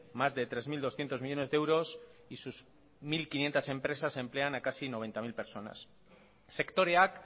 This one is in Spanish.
más de tres mil doscientos millónes de euros y sus mil quinientos empresas emplean a casi noventa mil personas sektoreak